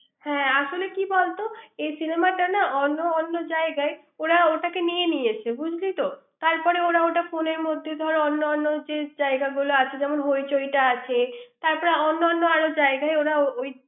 হ্যাঁ আসলে কি বলতো এই cinema টা না অন্য অন্য জায়গায় ওরা ওটাকে নিয়ে নিয়েছে বুঝলি তো তারপরে ওটা ফোনের মধ্যে অন্য অন্য যে জায়গাগুলো আছে যেমন হইচইটা আছে তারপরে অন্যান্য জায়গায় ওরা ওই